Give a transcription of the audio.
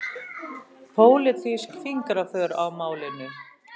Pólitísk fingraför á málinu